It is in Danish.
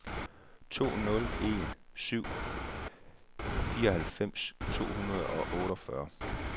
to nul en syv fireoghalvfems to hundrede og otteogfyrre